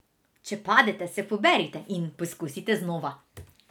Če padete, se poberite in poskusite znova.